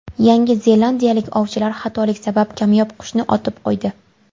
Yangi zelandiyalik ovchilar xatolik sabab kamyob qushni otib qo‘ydi.